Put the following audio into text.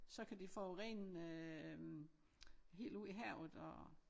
Så kan det forurene øh helt ud i havet og